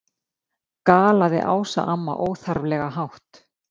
galaði Ása amma, óþarflega hátt.